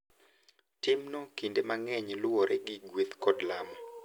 Timno kinde mang’eny luwore gi gueth kod lamo,